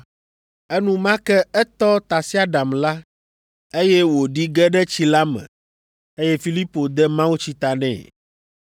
Enumake etɔ tasiaɖam la, eye wòɖi ge ɖe tsi la me, eye Filipo de mawutsi ta nɛ.